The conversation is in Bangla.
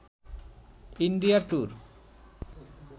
India tour